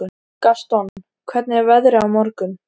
Gaston, hvernig er veðrið á morgun?